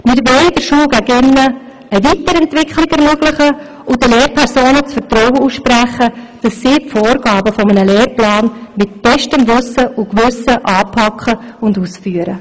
Wir wollen der Schule gegen innen eine Weiterentwicklung ermöglichen und den Lehrpersonen das Vertrauen aussprechen, dass sie die Vorgaben eines Lehrplans nach bestem Wissen und Gewissen anpacken und ausführen.